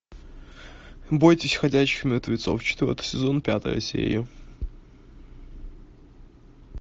бойтесь ходячих мертвецов четвертый сезон пятая серия